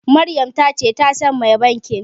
Maryam ta ce ta san mai bankin.